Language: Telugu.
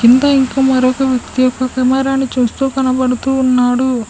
ఇంకా ఇంకో మరొక వ్యక్తి ఒక కెమెరాను చూస్తూ కనబడుతూ ఉన్నాడు.